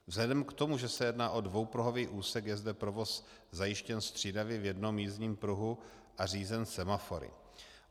Vzhledem k tomu, že se jedná o dvoupruhový úsek, je zde provoz zajištěn střídavě v jednom jízdním pruhu a řízen semafory.